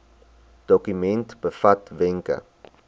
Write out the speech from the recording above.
dokument bevat wenke